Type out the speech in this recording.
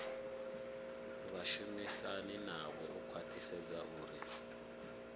vhashumisani navho u khwathisedza uri